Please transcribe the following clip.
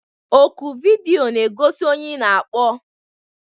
Oku vidiyo na-egosi onye ị na-akpọ